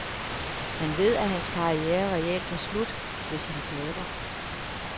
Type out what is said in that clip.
Han ved, at hans karriere reelt er slut, hvis han taber.